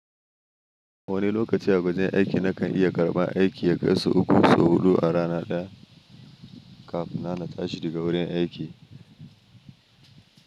Wani lokaci a wajen aiki nakan iya karban aiki ya kai sau uku sau huɗu a rana ɗaya kafin ma na tsahi da ga wurin aiki.